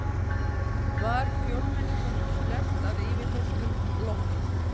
Var fjórmenningunum sleppt að yfirheyrslum loknum